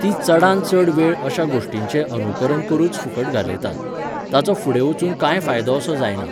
ती चडांत चड वेळ अश्या गोश्टींचें अनुकरण करुच फुकट घालयतात. ताचो फुडें वचून कांयच फायदो असो जायना